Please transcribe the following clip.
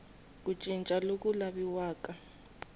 ku cinca loku laviwaka hi